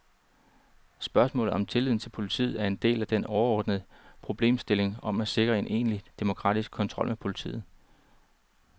Spørgsmålet om tilliden til politiet er en del af den overordnede problemstilling om at sikre en egentlig demokratisk kontrol med politiet.